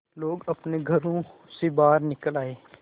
लोग अपने घरों से बाहर निकल आए